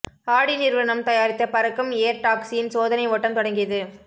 ஆடி நிறுவனம் தயாரித்த பறக்கும் ஏர் டாக்ஸியின் சோதனை ஓட்டம் தொடங்கியது